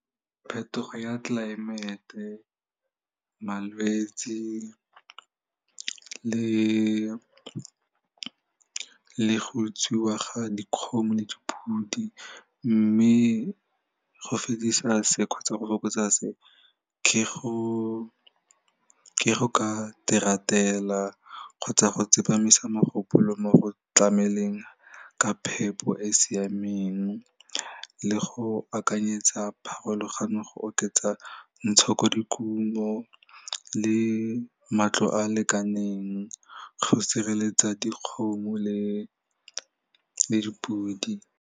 Phetogo ya tlelaemete, malwetsi le go utswiwa ga dikgomo le dipudi mme go fedisa se kgotsa go fokotsa se, ke go ka kgotsa go tsepamisa mogopolo mo go tlameleng ka phepo e e siameng le go akanyetsa pharologano go oketsa ntshokodikuno le matlo a lekaneng go sireletsa dikgomo le le dipudi.